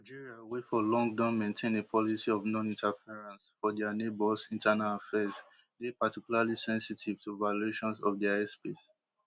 algeria wey for long don maintain a policy of noninterference for dia neighbours internal affairs dey particularly sensitive to violations of dia airspace